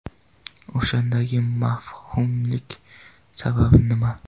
O‘shandagi mavhumlikning sababi nima?